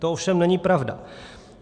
To ovšem není pravda.